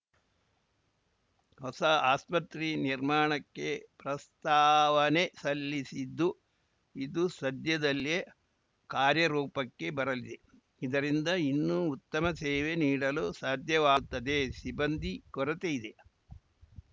ಹೊಸ ಆಸ್ಪತ್ರೆ ನಿರ್ಮಾಣಕ್ಕೆ ಪ್ರಸ್ತಾವನೆ ಸಲ್ಲಿಸಿದ್ದು ಇದು ಸಧ್ಯದಲ್ಲೇ ಕಾರ್ಯರೂಪಕ್ಕೆ ಬರಲಿದೆ ಇದರಿಂದ ಇನ್ನೂ ಉತ್ತಮ ಸೇವೆ ನೀಡಲು ಸಾಧ್ಯವಾಗುತ್ತದೆ ಸಿಬ್ಬಂದಿ ಕೊರತೆ ಇದೆ